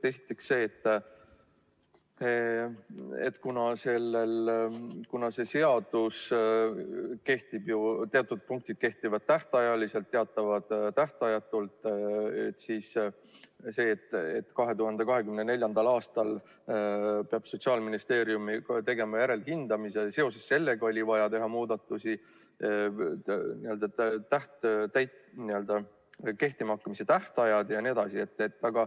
Esiteks see, et kuna selle seaduse teatud punktid kehtivad tähtajaliselt ja teatavad tähtajatult, siis seoses sellega, et 2024. aastal peab Sotsiaalministeerium tegema järelhindamise, oli vaja teha muudatusi – kehtima hakkamise tähtajad jne.